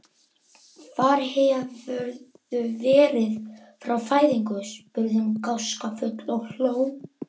Hvar hefurðu verið frá fæðingu? spurði hún gáskafull og hló.